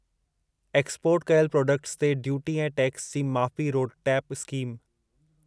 export कयल products ते duty ऐं टैक्स जी माफ़ी रोडटेप स्कीम